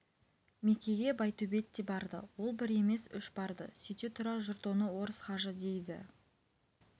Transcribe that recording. мекеге байтөбет те барды ол бір емес үш барды сүйте тұра жұрт оны орыс хажы дейді